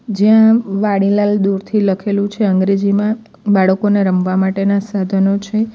જ્યા વાડીલાલ દૂરથી લખેલું છે અંગ્રેજીમાં બાળકોને રમવા માટેના સાધનો છે.